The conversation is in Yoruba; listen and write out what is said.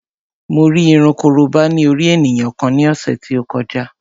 Mo rí irun korobá ní orí ènìyàn kan ní ọ̀sẹ̀ tí ó kọjá